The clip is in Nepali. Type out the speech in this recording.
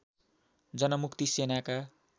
जनमुक्ति सेनाका